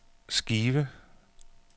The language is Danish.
skive